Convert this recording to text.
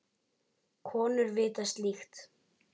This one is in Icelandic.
Konur vita slíkt.